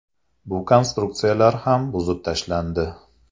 Bu konstruksiyalar ham buzib tashlandi.